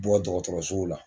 Bɔ dɔgɔtɔrɔsow la